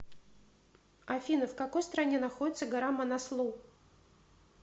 афина в какой стране находится гора манаслу